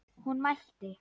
Hún mælti: